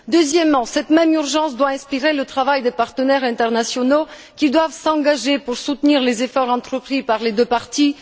Deuxièmement, cette même urgence doit inspirer le travail des partenaires internationaux, qui doivent s'attacher à soutenir les efforts entrepris par les deux parties.